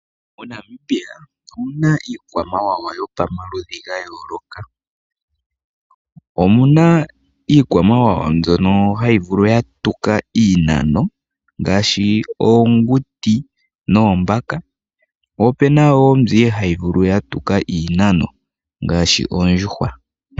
MoNamibia omuna iikwamawawa yopamaludhi ga yooloka. Omuna iikwamawawa mbyono hayi vulu yatuka iinano, ngaashi oonguti noombaka. Opuna wo mbyono ihaayi vulu yatuka iinano, ngaashi oondjuhwa.